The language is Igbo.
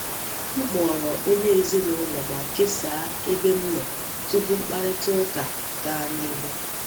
M kpọrọ onye ezinụlọ ma kesaa ebe m nọ tupu mkparịta ụka gaa n’ihu.